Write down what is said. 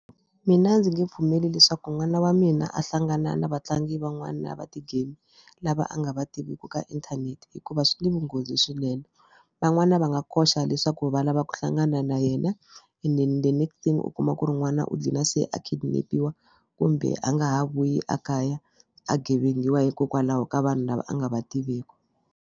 Mina ndzi nge pfumeli leswaku n'wana wa mina a hlangana na vatlangi van'wana va ti-game lava a nga va tiviki ka inthanete hikuva swi na vunghozi swinene. Van'wana va nga koxa leswaku va lava ku hlangana na yena ende and then the next ting u kuma ku ri n'wana u gcina se a kidnap-iwa kumbe a nga ha vuyi a kaya a gevengiwa hikokwalaho ka vanhu lava a nga va tiveki.